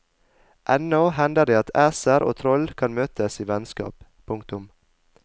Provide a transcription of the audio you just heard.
Ennå hender det at æser og troll kan møtes i vennskap. punktum